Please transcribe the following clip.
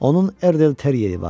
Onun Erdel Teriyeri vardı.